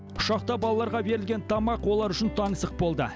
ұшақта балаларға берілген тамақ олар үшін таңсық болды